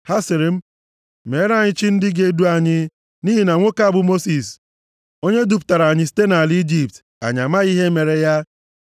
Ha sịrị m, ‘Meere anyị chi ndị ga-edu anyị, nʼihi na nwoke a bụ Mosis onye dupụtara anyị site nʼala Ijipt, anyị amaghị ihe mere ya.’